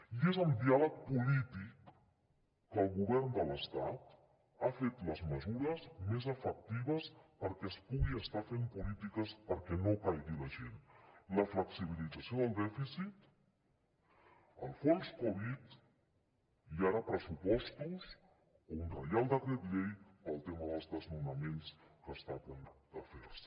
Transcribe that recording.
i és amb diàleg polític que el govern de l’estat ha fet les mesures més efectives perquè es pugui estar fent polítiques perquè no caigui la gent la flexibilització del dèficit el fons covid i ara pressupostos o un reial decret llei pel tema dels desnonaments que està a punt de fer se